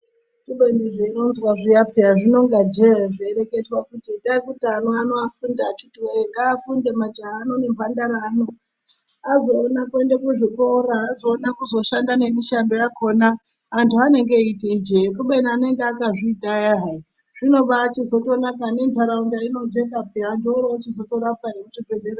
Kubeni zveironzwa zviya peyaa rinonga jee zveireketwa kuti itai kuti ana ano afunde akhithi woyee. Ngaafunde majaha ano nemhandara ano azoona kuenda kuzvikora. Azoona kuzoshanda nemishando yakhona. Antu anenge eiti ijee kubeni anenge akazviita ayaa hai, zvinobachizotonaka nenharaunda inojeka peyaa. Antu orochizotorapwa nekuchibhendlera.